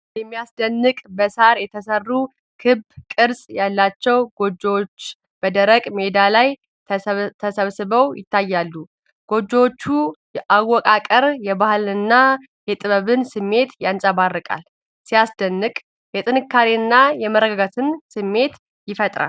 የሚያስደንቅ! በሳር የተሰሩ ክብ ቅርጽ ያላቸው ጎጆዎች በደረቅ ሜዳ ላይ ተሰባስበው ይታያሉ። የጎጆዎቹ አወቃቀር የባህልንና የጥበብን ስሜት ያንጸባርቃል። ሲያስደንቅ! የጥንካሬና የመረጋጋት ስሜት ይፈጥራል።